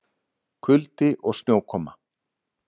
Kuldi og snjókoma